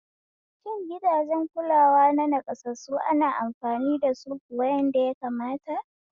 Shin gidajen kulawa na naƙasassu ana amfani dasu kuwa yadda ya kamata?